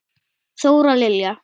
Þóra Lilja.